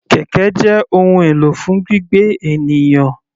Kẹ̀kẹ́ jẹ́ ohun èlò fún gbígbé ènìyàn.